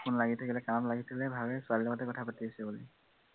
phone লাগি থাকিলে কাণত লাগি থাকিলে ভাৱে ছোৱালী লগতে কথা পাতি আছে বুলি